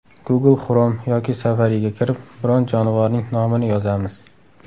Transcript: Google Chrome yoki Safari’ga kirib, biron jonivorning nomini yozamiz.